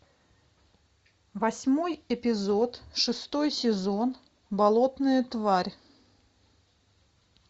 восьмой эпизод шестой сезон болотная тварь